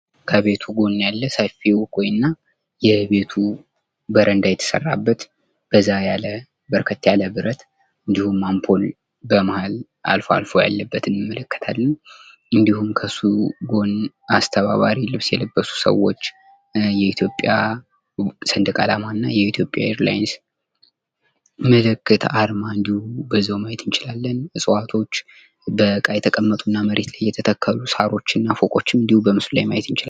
ከቤቱ ጎን ያለ ሰፊ እንኮይና የቤቱ በረንዳ የተሰራበት በዛ ያለ በርከት ያለ ብረት እንዲሁም አምፖል በመሃል አልፎ አልፎ ያለበትን እንመለከታለን። እንዲሁም ከሱ ጎን አስተባባሪ ልብስ የለበሱ ሰዎች የእትዮጵያ ሰንደቃላማና የኢትዮጵያ ኤር ላይንስ ምልክት አርማ እንዲሁም በዛው ማየት እንችላለን። እጽዋቶች በእቃ የተቀመጡና መሬት ላይ የተተከሉ ሳሮችና ፎቆጭን በምስሉ ላይ ማየት ይቻላል።